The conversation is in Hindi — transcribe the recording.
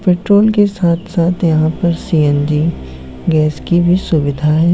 पेट्रोल के साथ साथ यहा पर सीऐनजी गेस की भी सुविधा है।